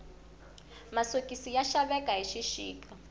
masokisi ya xaveka hi xixika